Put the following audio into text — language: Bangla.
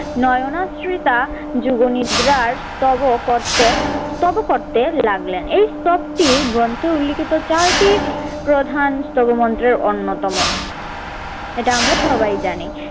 নয়নাশ্রিতা যুগনিদ্রার স্তব করতে স্তব করতে লাগলেন। এই স্তবটি গ্রন্থে উল্লেখিত চারটি প্রধান স্তব মন্ত্রের অন্যতম। এটা আমরা সবাই জানি।